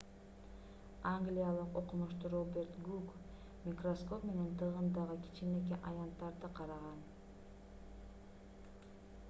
англиялык окумуштуу роберт гук микроскоп менен тыгындагы кичинекей аянттарды караган